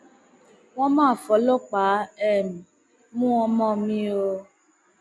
wọn mà fọlọpàá um mú ọmọ mi o